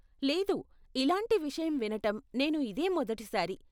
లేదు, ఇలాంటి విషయం వినటం నేను ఇదే మొదటి సారి!